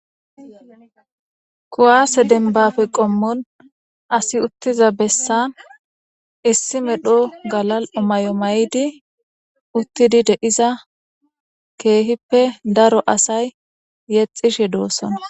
kuwaase denbafe qommon asi uttiza bessan issi medho galal omay7o may7di uttidi de iza keehippe daro asay yexishe doossona